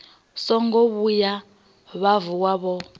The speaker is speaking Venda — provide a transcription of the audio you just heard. songo vhuya vha vuwa vho